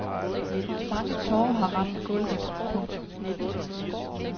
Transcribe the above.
Mange tårer har ramt gulvet. punktum